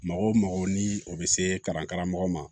Mɔgɔ o mɔgɔ ni o bɛ se kalanko ma